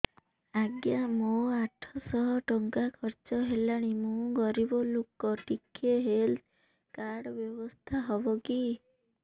ଆଜ୍ଞା ମୋ ଆଠ ସହ ଟଙ୍କା ଖର୍ଚ୍ଚ ହେଲାଣି ମୁଁ ଗରିବ ଲୁକ ଟିକେ ହେଲ୍ଥ କାର୍ଡ ବ୍ୟବସ୍ଥା ହବ କି